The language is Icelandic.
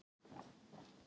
Hún var rétt hjá mér.